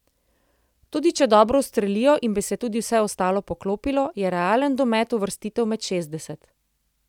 Tudi če dobro ustrelijo in bi se tudi vse ostalo poklopilo, je realen domet uvrstitev med šestdeset.